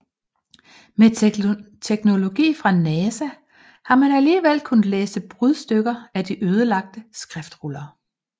Med teknologi fra NASA har man alligevel kunnet læse brudstykker af de ødelagte skriftruller